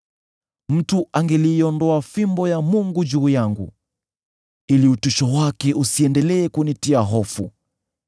mtu angeliiondoa fimbo ya Mungu juu yangu, ili utisho wake usiendelee kunitia hofu.